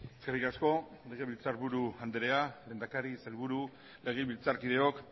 eskerrik asko legebiltzarburu andrea lehendakari sailburu legebiltzarkideok